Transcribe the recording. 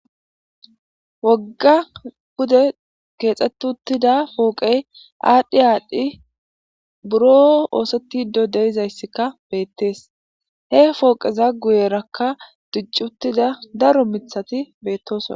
Woga pude kexeti utida poqey adhi adhi buro osetidi de'izayska betes he poqeza guyeraka diici utida daro mithatika betosona